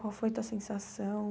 Qual foi a tua sensação?